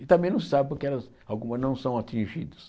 E também não se sabe porque elas algumas não são atingidas.